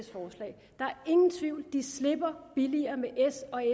ingen tvivl de slipper billigere med